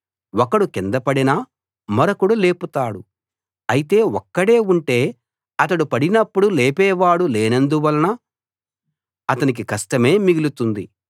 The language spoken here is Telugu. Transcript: ఒకడు కింద పడినా మరొకడు లేపుతాడు అయితే ఒక్కడే ఉంటే అతడు పడినప్పుడు లేపేవాడు లేనందువలన అతనికి కష్టమే మిగులుతుంది